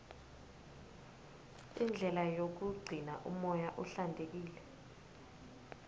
indlela yokugcina umoya uhlantekile